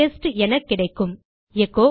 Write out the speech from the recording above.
test என கிடைக்கும் echo